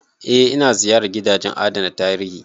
Eh, ina ziyarar gidajen adana tarihi